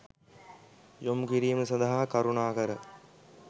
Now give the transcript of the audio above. යොමුකිරීම සඳහා කරුණාකර